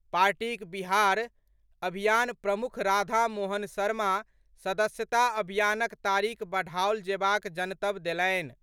पार्टीक बिहार अभियान प्रमुख राधा मोहन शर्मा सदस्यता अभियानक तारीख बढ़ाओल जेबाक जनतब देलनि।